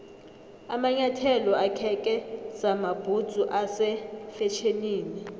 amanyathelo akheke samabhudzu ase fetjhenini